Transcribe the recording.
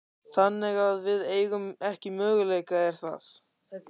Þannig að við eigum ekki möguleika, er það?